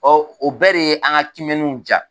Ɔ ɔ bɛɛ de ye an ka kiimɛniw ja!